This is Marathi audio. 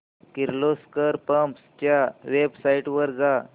किर्लोस्कर पंप्स च्या वेबसाइट वर जा